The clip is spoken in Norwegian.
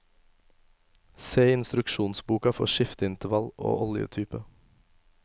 Se i instruksjonsboka for skifteintervall og oljetype.